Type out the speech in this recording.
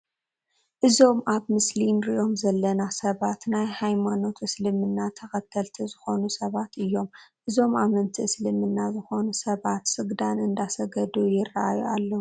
እዞም ኣብ ምስሊ እንርእዮም ዘለና ሰባት ናይ ሃይማኖት እስልምና ተከተልቲ ዝኮኑ ሰባት እዮም። እዞም ኣመንቲ እስልምና ዝኮኑ ሰባት ስግዳን እንዳሰገዱ ይረኣዩ ኣለው።